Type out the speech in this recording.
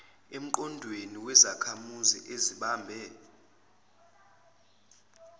emqondweni wezakhamuzi ezibambe